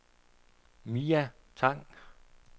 Mia Tang